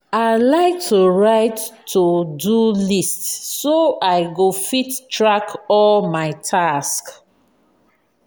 i like to write to-do list so i go fit track all my tasks.